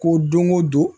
Ko don o don